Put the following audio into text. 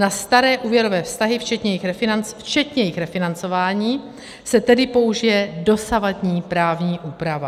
Na staré úvěrové vztahy, včetně jejich refinancování, se tedy použije dosavadní právní úprava.